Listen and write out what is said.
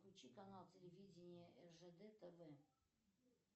включи канал телевидения ржд тв